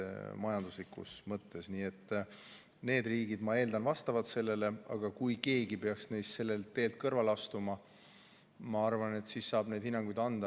Need riigid, ma eeldan, vastavad, aga kui keegi neist peaks sellelt teelt kõrvale astuma, siis ma arvan, et saab neid hinnanguid anda.